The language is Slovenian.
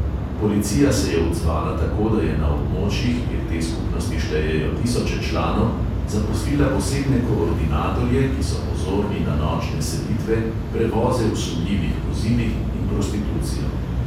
Policija se je odzvala tako, da je na območjih, kjer te skupnosti štejejo tisoče članov, zaposlila posebne koordinatorje, ki so pozorni na nočne selitve, prevoze v sumljivih vozilih in prostitucijo.